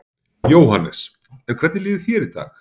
Jóhannes: En hvernig líður þér í dag?